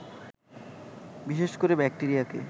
বিশেষ করে ব্যাক্টেরিয়াকে